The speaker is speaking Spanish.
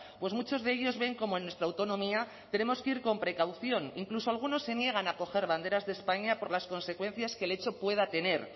pues muchos de ellos ven cómo en nuestra autonomía tenemos que ir con precaución incluso algunos se niegan a coger banderas de españa por las consecuencias que el hecho pueda tener